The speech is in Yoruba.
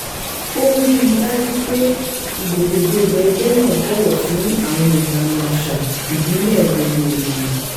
ó rí i dájú pé ìgbòkègbodò ẹgbẹ́ náà bọ̀wọ̀ fún àwọn ìlànà àṣà ìbílẹ̀ gbogbo ènìyàn